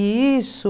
E isso...